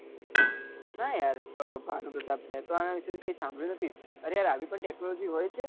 ના યાર ભાનુ પ્રતાપ મેતો આના વિષે કઈ સાભળ્યું નથી અરે યાર આવી પણ કઈ tecnology હોય છે